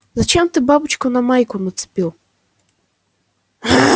зачем ты бабочку на майку нацепил